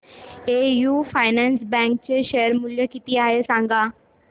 AU finance bank चे share मूल्य किती आहे सांगा